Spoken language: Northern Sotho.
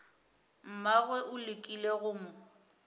mmagwe o lekile go mo